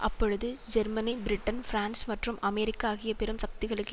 அப்பொழுது Germany Britain France மற்றும் America ஆகிய பெரும் சக்திகளுக்கு